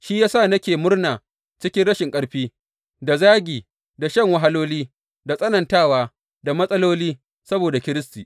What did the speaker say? Shi ya sa nake murna cikin rashin ƙarfi, da zagi, da shan wahaloli, da tsanantawa, da matsaloli, saboda Kiristi.